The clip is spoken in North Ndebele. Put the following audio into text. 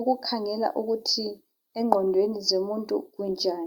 ukukhangela ukuthi engqondweni zomuntu unjani.